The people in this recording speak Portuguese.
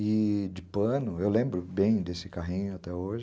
E de pano, eu lembro bem desse carrinho até hoje.